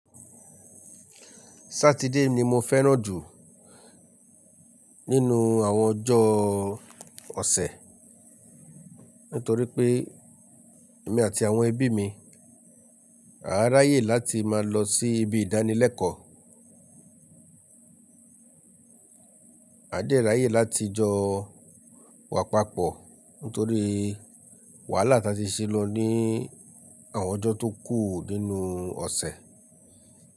Saturday ni mo fẹ́ràn jù nínú àwọn ọjọ́ ọ̀sẹ̀ nítorí pé èmi àti àwọn ẹbí mi, a ráyè láti máa lọ sí ibi ìdánilẹ́kọ̀ọ́. A jẹ́ ráyè láti jọ wà papọ̀ nítorí wàhálà tí a ṣe lọ ní àwọn ọjọ́ tó kù nínú ọ̀sẹ̀